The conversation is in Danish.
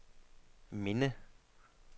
minde